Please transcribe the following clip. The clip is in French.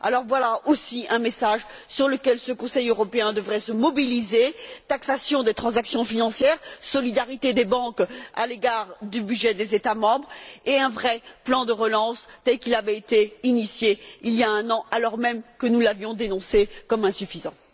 Alors voilà aussi un message sur lequel ce Conseil européen devrait se mobiliser taxation des transactions financières, solidarité des banques à l'égard du budget des États membres et un vrai plan de relance, tel qu'il avait été initié il y a un an, alors même que nous l'avions dénoncé comme insuffisant.